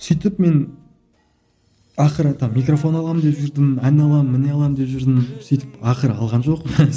сөйтіп мен ақыры там микрофон аламын деп жүрдім әне аламын міне аламын деп жүрдім сөйтіп ақыры алған жоқпын